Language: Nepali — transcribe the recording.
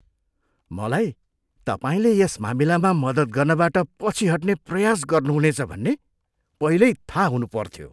मलाई तपाईँले यस मामिलामा मद्दत गर्नबाट पछि हट्ने प्रयास गर्नुहुनेछ भन्ने पहिल्यै थाहा हुनुपर्थ्यो।